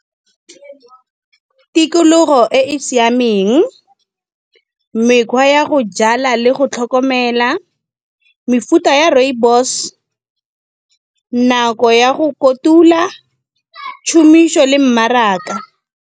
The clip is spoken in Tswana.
Tikologo e e siameng, mekgwa ya go jala le go tlhokomela, mefuta ya rooibos. Nako ya go kotula, tshumiso le mmaraka.